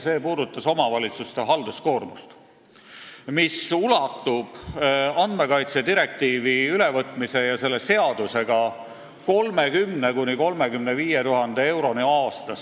See puudutas omavalitsuste halduskoormust, mis ulatub andmekaitse direktiivi ülevõtmisel ja selle seaduse vastuvõtmisel 30 000 – 35 000 euroni aastas.